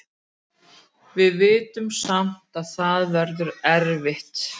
Við vitum samt að það verður erfitt.